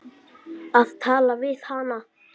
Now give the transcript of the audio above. Að tala við hana!